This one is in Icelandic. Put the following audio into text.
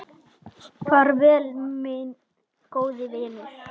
Far vel, minn góði vinur.